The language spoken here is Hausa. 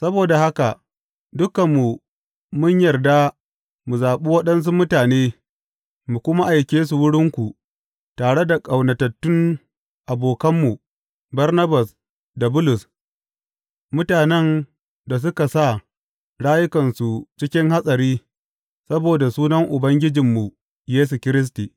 Saboda haka dukanmu mun yarda mu zaɓi waɗansu mutane mu kuma aike su wurinku tare da ƙaunatattun abokanmu Barnabas da Bulus mutanen da suka sa rayukansu cikin hatsari saboda sunan Ubangijinmu Yesu Kiristi.